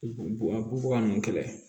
Bubaga ninnu kɛlɛ